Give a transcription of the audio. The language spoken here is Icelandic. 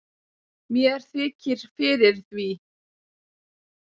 mér þykir fyrir því